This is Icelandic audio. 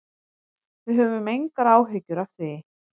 Við höfum engar áhyggjur af því.